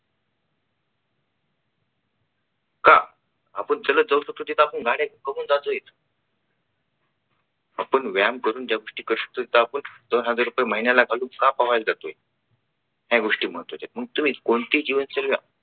का? आपण चालत जाऊ शकतो तिथे आपण गाड्या बघून जातोय आपण व्यायाम करून ज्या गोष्टी करू शकतो आपण दोन हजार रुपये महिन्याला घालून का पोहायला जातोय. या गोष्टी महत्त्वाच्या आहेत. मग तुम्ही कोणती जीवनशैली घ्या.